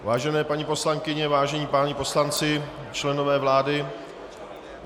Vážené paní poslankyně, vážení páni poslanci, členové vlády.